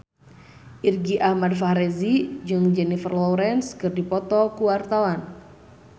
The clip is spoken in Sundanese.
Irgi Ahmad Fahrezi jeung Jennifer Lawrence keur dipoto ku wartawan